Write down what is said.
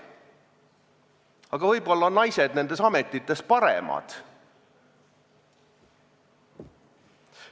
Aga võib-olla on naised nendes ametites paremad.